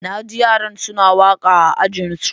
Naji yaran suna waka a Ajinsu.